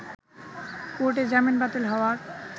কোর্টে জামিন বাতিল হওয়ার